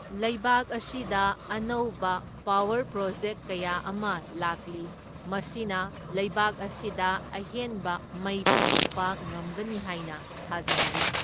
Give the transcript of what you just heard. ꯂꯩꯕꯥꯛ ꯑꯁꯤꯗ ꯑꯅꯧꯕ ꯄꯥꯋꯔ ꯄ꯭ꯔꯣꯖꯦꯛꯠ ꯀꯌꯥ ꯑꯃ ꯂꯥꯛꯂꯤ, ꯃꯁꯤꯅ ꯂꯩꯕꯥꯛ ꯑꯁꯤꯗ ꯑꯍꯦꯟꯕ ꯃꯩ ꯄꯨꯊꯣꯛꯕ ꯉꯝꯒꯅꯤ ꯍꯥꯏꯅ ꯊꯥꯖꯅꯔꯤ꯫